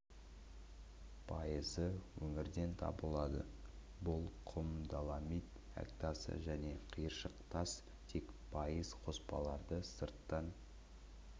пайызы өңірден табылады бұл құм доломит әк тасы және қиыршық тас тек пайыз қоспаларды сырттан